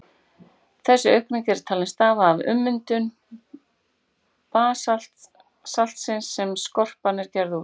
Þessi aukning er talin stafa af ummyndun basaltsins sem skorpan er gerð úr.